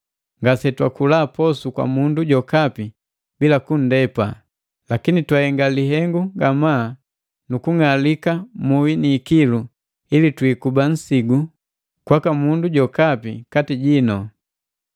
ngase twakula posu kwa mundu jokapi bila kunndepa. Lakini twahenga lihengu ngamaa nukung'alika muhi ni ikilu ili twiikuba nsigu kwaka mundu jokapi kati jii.